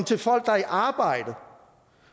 til folk der er i arbejde